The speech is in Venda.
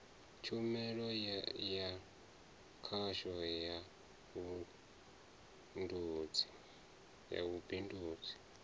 tshumelo ya khasho ya vhubindudzi